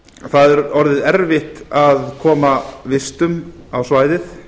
það er orðið erfitt að koma vistum á svæðið